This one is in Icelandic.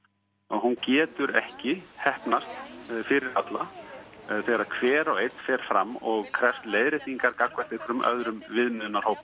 hún getur ekki heppnast fyrir alla þegar hver og einn fer fram og krefst leiðréttingar gagnvart einhverjum öðrum viðmiðunarhópi